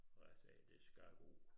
Og jeg sagde det skal gå